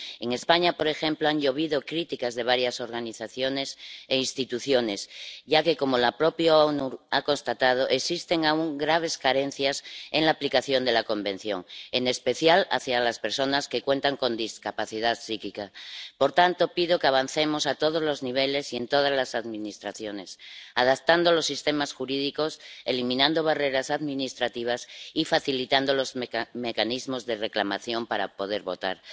En España, por ejemplo, han llovido críticas de varias organizaciones e instituciones, ya que, como las propias Naciones Unidas han constatado, existen aún graves carencias en la aplicación de la Convención, en especial con respecto a las personas que tienen discapacidad psíquica. Por tanto, pido que avancemos a todos los niveles y en todas las administraciones, adaptando los sistemas jurídicos, eliminando barreras administrativas y facilitando los mecanismos de reclamación para poder votar.